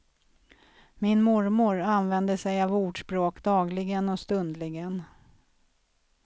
Min mormor använde sig av ordspråk dagligen och stundligen.